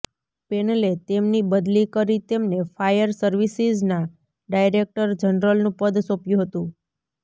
પેનલે તેમની બદલી કરી તેમને ફાયર સર્વિસીઝના ડાયરેક્ટર જનરલનું પદ સોપ્યું હતું